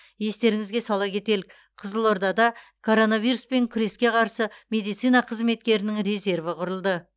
естеріңізге сала кетелік қызылордада коронавируспен күреске қарсы медицина қызметкерінің резерві құрылды